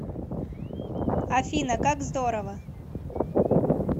афина как здорово